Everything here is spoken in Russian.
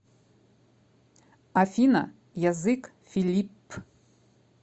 афина язык филипп